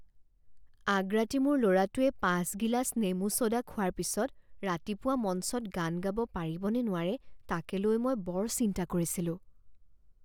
আগৰাতি মোৰ ল'ৰাটোৱে পাঁচ গিলাচ নেমু ছ'ডা খোৱাৰ পিছত ৰাতিপুৱা মঞ্চত গান গাব পাৰিব নে নোৱাৰে তাকে লৈ মই বৰ চিন্তা কৰিছিলোঁ।